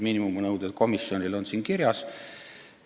Miinimumnõuded komisjonile on siin kirjas.